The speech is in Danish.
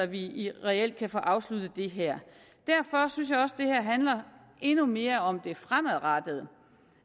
vi reelt kan få afsluttet det her derfor synes jeg også at det her handler endnu mere om det fremadrettede